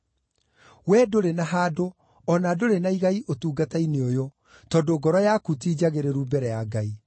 Wee ndũrĩ na handũ, o na ndũrĩ na igai ũtungata-inĩ ũyũ, tondũ ngoro yaku ti njagĩrĩru mbere ya Ngai.